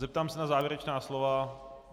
Zeptám se na závěrečná slova.